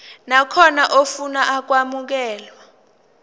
nakhona ofuna ukwamukelwa